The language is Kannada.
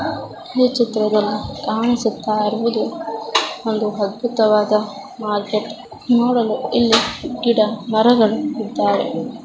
ಈ ಚಿತ್ರದಲ್ಲಿ ಕಾಣಿಸುತ್ತ ಇರುವುದು ಒಂದು ಅದ್ಭುತವಾದ ಮಾರ್ಕೆಟ್ . ನೋಡಲು ಇಲ್ಲಿ ಗಿಡ ಮರಗಳು ಇದ್ದಾವೆ.